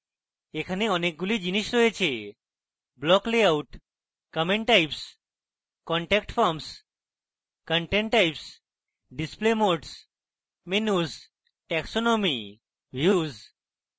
এখানে অনেকগুলি জিনিস রয়েছেblock layout comment types contact forms content types display modes menus taxonomy views